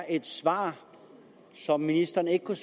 et svar som ministeren ikke kunne